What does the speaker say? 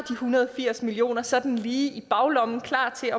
hundrede og firs million kroner sådan lige i baglommen og klar til at